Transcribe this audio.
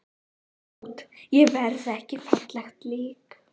Hreint út: Ég verð ekki fallegt lík.